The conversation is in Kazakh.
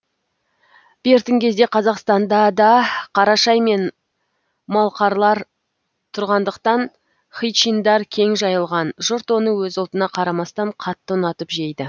бертін кезде қазақстанда да қарашай мен малқарлар тұрғандықтан хычиндар кең жайылған жұрт оны өз ұлтына қарамастан қатты ұнатып жейді